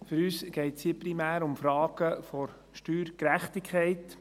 Für uns geht es hier primär um Fragen der Steuergerechtigkeit.